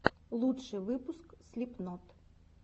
лучший выпуск слипнот